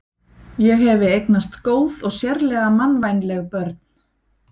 Ég hefi eignast góð og sérlega mannvænleg börn.